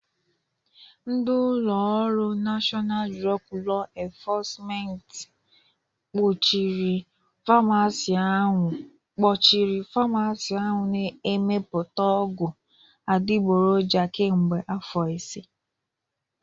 Ndị ụlọ ọrụ Nashọnal Drọg Lọ enfọsment kpụchirị famasi ahụ na-emepụta ọgwọ adịgboloja kamgbe afọ ise.